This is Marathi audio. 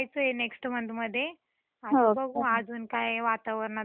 आता बघू अजून काय वातावरणामध्ये भरपूर चेंज होतीलच न अजून.